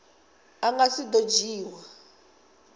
a nga si do dzhiiwa